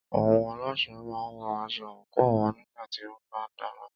Àwọn alásè máà ń wọ aṣọ àńkò wọn nígbà tí wọ́n bá ń dáná.